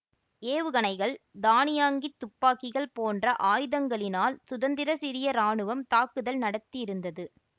ஏவுகணைகள் தானியங்கித் துப்பாக்கிகள் போன்ற ஆயுதங்களினால் சுதந்திர சிரிய இராணுவம் தாக்குதல் நடத்தியிருந்தது